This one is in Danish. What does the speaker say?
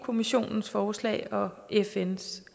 kommissionens forslag og fns